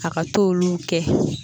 A ka t'olu kɛ